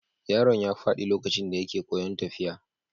Yaron ya faɗi lokacin da yake koyon tafiya.